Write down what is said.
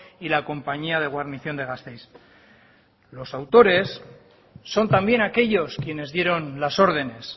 y la compañía de guarnición de gasteiz los autores son también aquellos quienes dieron las órdenes